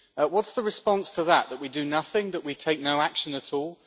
What is the response to that that we do nothing, that we take no action at all?